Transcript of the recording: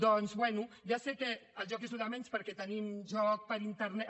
doncs bé ja sé que el joc és el de menys perquè tenim joc per internet